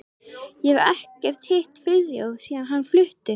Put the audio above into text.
Ég hef ekkert hitt Friðþjóf síðan hann flutti.